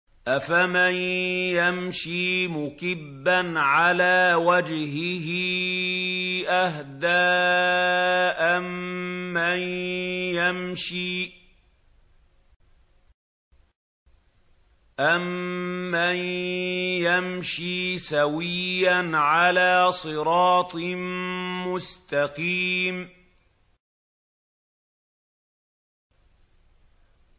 أَفَمَن يَمْشِي مُكِبًّا عَلَىٰ وَجْهِهِ أَهْدَىٰ أَمَّن يَمْشِي سَوِيًّا عَلَىٰ صِرَاطٍ مُّسْتَقِيمٍ